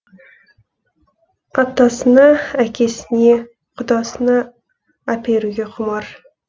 атасына әкесіне құдасына әперуге құмар